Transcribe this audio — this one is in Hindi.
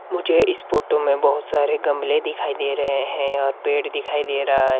मुझे इस फोटो में बहुत सारे गमले दिखाई दे रहे हैं और पेड़ दिखाई दे रहा है।